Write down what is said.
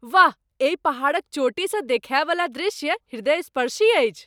वाह! एहि पहाड़क चोटीसँ देखाय बला दृश्य हृदयस्पर्शी अछि।